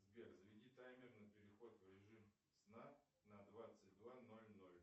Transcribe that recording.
сбер заведи таймер на переход в режим сна на двадцать два ноль ноль